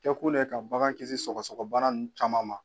Kɛkun de ye ka bagan kisi sɔgɔsɔgɔbana caman ma